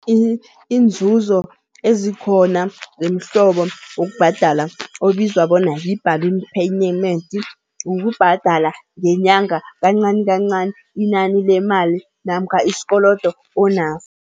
Iinzuzo ezikhona zemihlobo wokubhadala obizwa bona yi-balloon payment, ukubhadala ngenyanga kancani kancani inani lemali namkha isikolodo onaso.